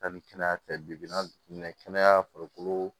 Ani kɛnɛya tɛ bi na kɛnɛya farikolo